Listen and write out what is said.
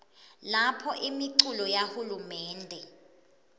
lapho imiculu yahulumende